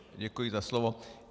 Děkuji za slovo.